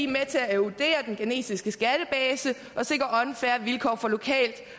med til at erodere den ghanesiske skattebase og sikre unfair vilkår for lokalt